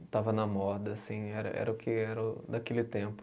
Estava na moda, assim, era era o que era daquele tempo.